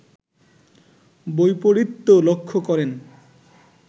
বৈপরীত্য লক্ষ্য করেন